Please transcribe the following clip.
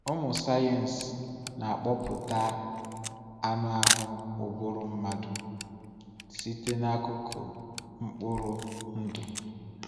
Ụmụ sayensị na-akụpụta anụ ahụ ụbụrụ mmadụ site n’akụkụ mkpụrụ ndụ.